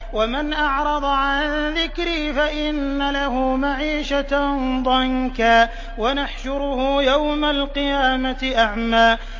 وَمَنْ أَعْرَضَ عَن ذِكْرِي فَإِنَّ لَهُ مَعِيشَةً ضَنكًا وَنَحْشُرُهُ يَوْمَ الْقِيَامَةِ أَعْمَىٰ